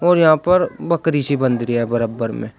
और यहां पर बकरी सी बंध रही है बराबर में।